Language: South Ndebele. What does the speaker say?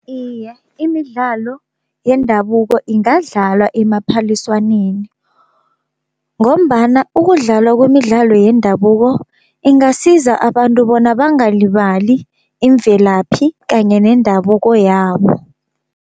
Iye, imidlalo yendabuko ingadlalwa emaphaliswaneni, ngombana ukudlalwa kwemidlalo yendabuko ingasiza abantu bona bangalibali imvelaphi kanye nendabuko yabo.